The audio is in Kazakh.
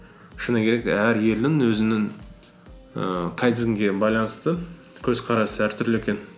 шыны керек әр елдің өзінің ііі кайдзенге байланысты көзқарасы әртүрлі екен